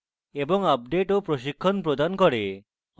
এবং আপডেট ও প্রশিক্ষণ প্রদান করে